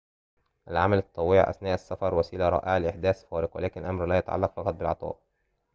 العمل التطوعي أثناء السفر وسيلة رائعة لإحداث فارق ولكن الأمر لا يتعلق فقط بالعطاء